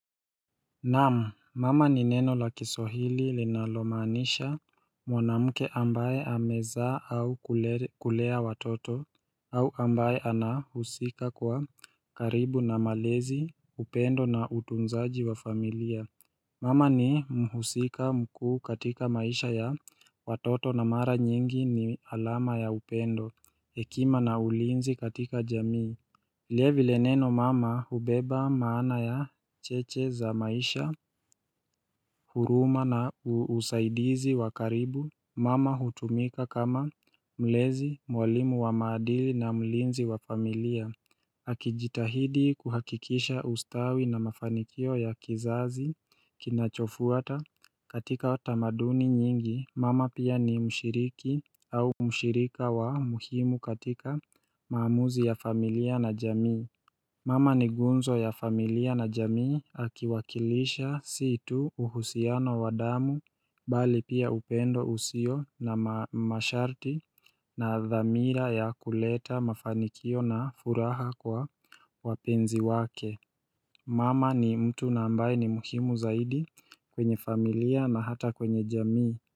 Naamu, mama ni neno la kiswahili linalomanisha mwanamuke ambaye amezaa au kulea watoto, au ambaye anahusika kwa karibu na malezi, upendo na utunzaji wa familia. Mama ni mhusika mkuu katika maisha ya watoto na mara nyingi ni alama ya upendo, hekima na ulinzi katika jamii. Vile vile neno mama ubeba maana ya cheche za maisha huruma na usaidizi wakaribu Mama hutumika kama mlezi mwalimu wa maadili na mlinzi wa familia Hakijitahidi kuhakikisha ustawi na mafanikio ya kizazi kinachofuata katika watamaduni nyingi mama pia ni mshiriki au mshirika wa muhimu katika maamuzi ya familia na jamii Mama ni gunzo ya familia na jamii akiwakilisha situ uhusiano wa damu bali pia upendo usio na masharti na dhamira ya kuleta mafanikio na furaha kwa wapenzi wake Mama ni mtu na ambaye ni muhimu zaidi kwenye familia na hata kwenye jamii.